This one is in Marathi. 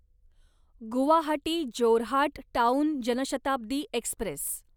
Guwahati Jorhat town Jan Shatabdi Express